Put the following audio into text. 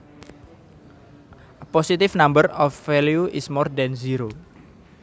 A positive number or value is more than zero